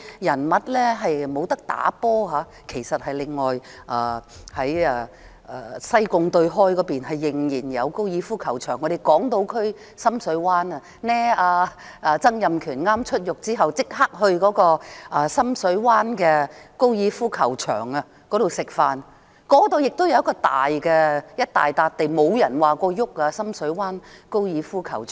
事實上，在西貢對開還有一個高爾夫球場，而港島區深水灣也有一個——曾蔭權出獄後立即到深水灣高爾夫球場吃飯——那裏亦有一大幅土地，也沒有人說要碰深水灣高爾夫球場。